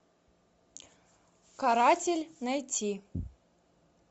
каратель найти